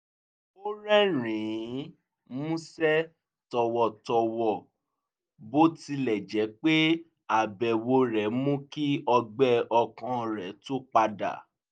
ó rẹ́rìn-ín músẹ́ tọ̀wọ̀tọ̀wọ̀ bó tilẹ̀ jẹ́ pé àbẹ̀wò rẹ̀ mú kí ọgbẹ́ ọkàn rẹ̀ tún padà